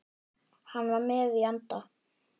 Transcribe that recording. Hann var með í anda.